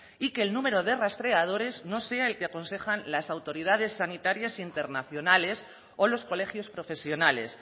y que el número de rastreadores no sea el que aconsejan las autoridades sanitarias internacionales o los colegios profesionales